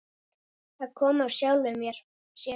Það kom af sjálfu sér.